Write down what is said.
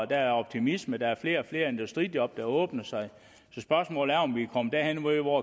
der er optimisme der er flere og flere industrijob der åbner sig så spørgsmålet er om vi er kommet derhen hvor